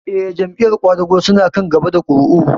Eh, Jam'iyar ƙwadago su na kan gaba da ƙuri'u